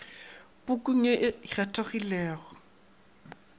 pukung ye o e kgethilego